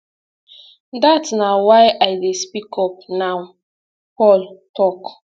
dat na why i dey speak up now paul tok